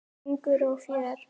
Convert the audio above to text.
Söngur og fjör.